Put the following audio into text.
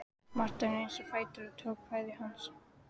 Marteinn reis á fætur og tók kveðju hans.